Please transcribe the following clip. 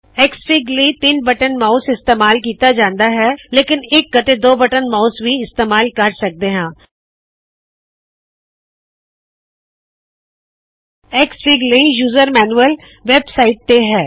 XFIG ਲਇ ਤਿੱਨ button mouse ਇਸਤੇਮਾਲ ਕੀਤਾ ਜਾਂਦਾ ਹੈ ਲੇਕਿਨ ਇਕ ਅਤੇ ਦੋ ਬਟਨ ਮਾਉਸ ਵੀ ਇਸਤੇਮਾਲ ਕਰ ਸਕਦੇ ਹਾ ਐਕਸਐਫਆਈਜੀ ਦੇ ਲਇ ਯੂਜ਼ਰ ਮੈਨੁਅਲ ਵੇਬ ਸਾਇਟ ਤੇ ਹੈ